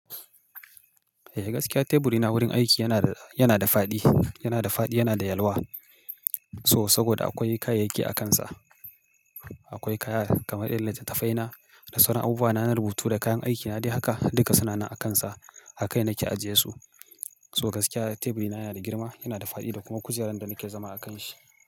Eh gaskiya teburina wurin aiki yana da, yana da faɗi, yana da faɗi, yana da yalwa. So saboda akwai kayayyaki akansa. Akwai kaya kamar irin littattafaina da sauran abubuwa na rubutu da kayan aikina dai haka, duka suna nan akansa. Akai nake ajiye su. So gaskiya teburina yana da girma, yana da faɗi da kuma kujerar da nake zama a kanshi.